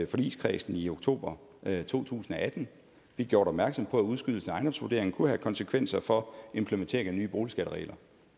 forligskredsen i oktober to tusind og atten blev gjort opmærksom på at udskydelsen af ejendomsvurderingen kunne have konsekvenser for implementering af nye boligskatteregler